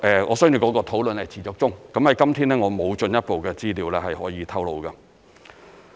我相信討論是持續中，今天我沒有進一步的資料可以透露。